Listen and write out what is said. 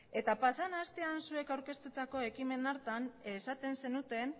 eta pasadan astean zuek aurkeztutako ekimen hartan esaten zenuten